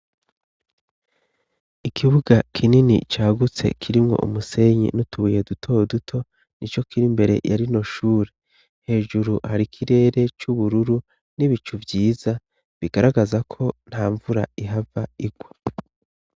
Ikibuga kinini cagutse kirimwo umusenyi n'utubuye dutoduto ni co kiri mbere yari no shure hejuru hari ikirere c'ubururu n'ibicu vyiza bigaragaza ko nta mvura ihava irwa.